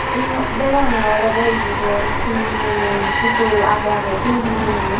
yot degongey olodey yun hi miley pudul agey agey toyon hijeni.